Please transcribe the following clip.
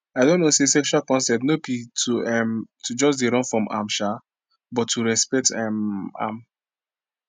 i don know say sexual consent no be um to just dey run from am um but to respect um am